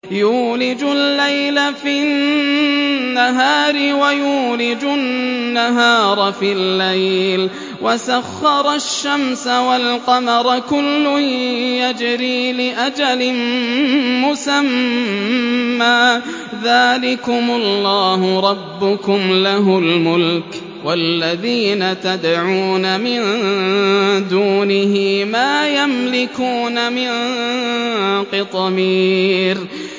يُولِجُ اللَّيْلَ فِي النَّهَارِ وَيُولِجُ النَّهَارَ فِي اللَّيْلِ وَسَخَّرَ الشَّمْسَ وَالْقَمَرَ كُلٌّ يَجْرِي لِأَجَلٍ مُّسَمًّى ۚ ذَٰلِكُمُ اللَّهُ رَبُّكُمْ لَهُ الْمُلْكُ ۚ وَالَّذِينَ تَدْعُونَ مِن دُونِهِ مَا يَمْلِكُونَ مِن قِطْمِيرٍ